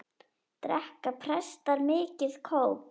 Drekka prestar mikið kók?